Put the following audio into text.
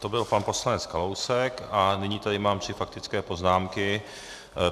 To byl pan poslanec Kalousek a nyní tady mám tři faktické poznámky.